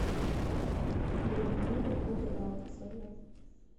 людмилу кудрявцеву